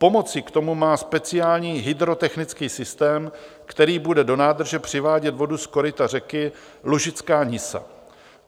Pomoci k tomu má speciální hydrotechnický systém, který bude do nádrže přivádět vodu z koryta řeky Lužická Nisa.